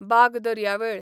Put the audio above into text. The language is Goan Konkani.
बाग दर्यावेळ